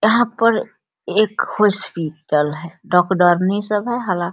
यहाँ पर एक हॉस्पिटल है डॉक्टरनी सब है हला --